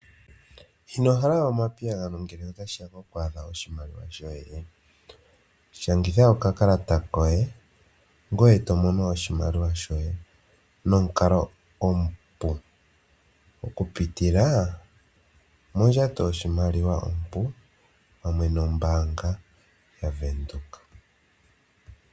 Inohala omapiyagano ngele otashiya kokumbaanga oshimaliwa shoye? Shangitha okakalata koye ngoye to mono oshimaliwa shoye nomukalo omupu okupitila mondjato yoshimaliwa ompu pamwe nombaanga yaVenduka.